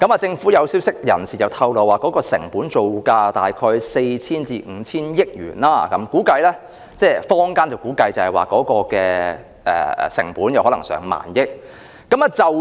政府消息人士透露，成本造價約為 4,000 億元至 5,000 億元，坊間則估計成本可能高達1萬億元。